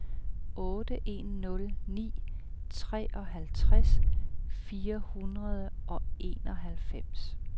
otte en nul ni treoghalvtreds fire hundrede og enoghalvfems